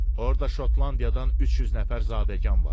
Orda Şotlandiyadan 300 nəfər zadəgan var.